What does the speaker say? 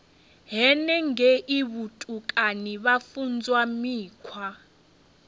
henengei vhutukani vha funzwa mikhwa